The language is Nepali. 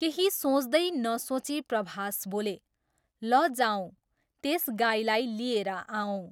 केही सोच्दै नसोची प्रभास बोले, ल जाऔँ त्यस गाईलाई लिएर आऔँ।